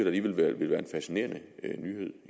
alligevel ville være en fascinerende nyhed